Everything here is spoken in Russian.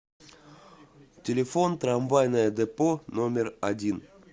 телефон трамвайное депо номер один